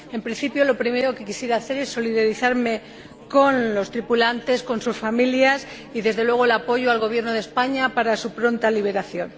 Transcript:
En principio, lo primero que quisiera expresar es mi solidaridad con los tripulantes, con sus familias y, desde luego, el apoyo al Gobierno de España para su pronta liberación.